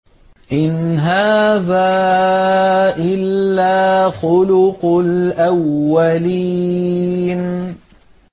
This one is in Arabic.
إِنْ هَٰذَا إِلَّا خُلُقُ الْأَوَّلِينَ